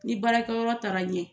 Ni baarakɛyɔrɔ taara ɲɛ